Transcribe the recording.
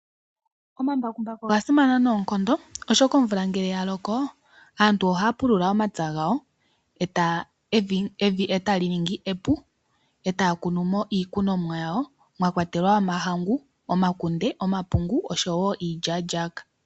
Omambakumbaku oga simana noonkondo oshoka omvula ngele ya loko aantu ohaya pulula omapya gawo, evi e ta li ningi epu e ta ya kunu mo iikunomwa yawo, mwakwatelwa omahangu, omakunde, omapungu oshowo iilyaalyaka.